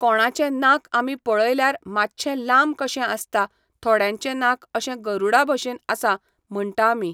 कोणाचें नाक आमी पळयल्यार मातशें लांब कशें आसता. थोड्यांचें नाक अशें गरूडा भशेन आसा म्हणटा आमी